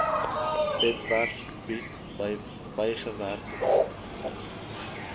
webwerf bied bygewerkte